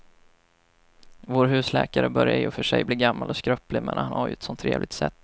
Vår husläkare börjar i och för sig bli gammal och skröplig, men han har ju ett sådant trevligt sätt!